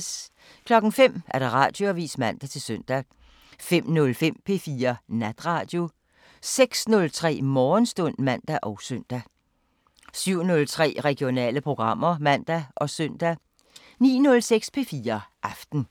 05:00: Radioavisen (man-søn) 05:05: P4 Natradio 06:03: Morgenstund (man og søn) 07:03: Regionale programmer (man og søn) 09:06: P4 Aften